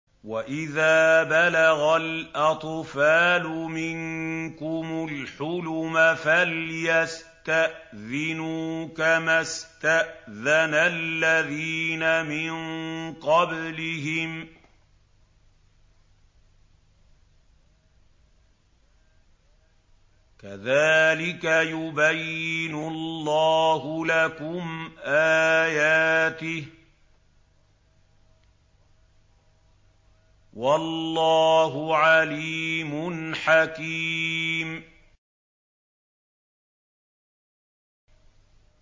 وَإِذَا بَلَغَ الْأَطْفَالُ مِنكُمُ الْحُلُمَ فَلْيَسْتَأْذِنُوا كَمَا اسْتَأْذَنَ الَّذِينَ مِن قَبْلِهِمْ ۚ كَذَٰلِكَ يُبَيِّنُ اللَّهُ لَكُمْ آيَاتِهِ ۗ وَاللَّهُ عَلِيمٌ حَكِيمٌ